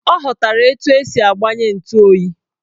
Ọ ghọtara etu esi agbanye ntu oyi